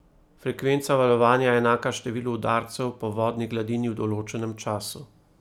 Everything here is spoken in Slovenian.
Frekvenca valovanja je enaka številu udarcev po vodni gladini v določenem času.